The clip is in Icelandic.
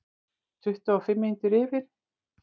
Tuttugu og fimm mínútur yfir